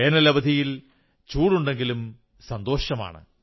വേനലവധിയിൽ ചൂടുണ്ടെങ്കിലും സന്തോഷമാണ്